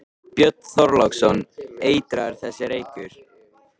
Björn Þorláksson: Eitraður þessi reykur?